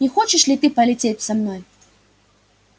не хочешь ли ты полететь со мной